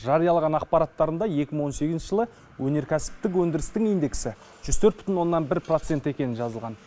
жариялаған ақпараттарында екі мың он сегізінші жылы өнеркәсіптік өндірістің индексі жүз төрт бүтін оннан бір процент екені жазылған